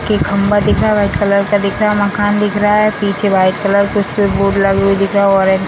के खम्भा दिख रहा है वाइट कलर का दिख रहा है मकान दिख रहा है पीछे वाइट कलर का स्विच बोर्ड लगी हुई दिख रहा है ऑरेंज --